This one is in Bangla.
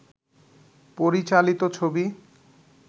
পরিচালিত ছবি